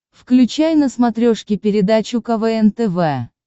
включай на смотрешке передачу квн тв